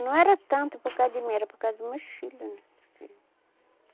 Não era tanto por causa de mim, era por causa do meus filho né.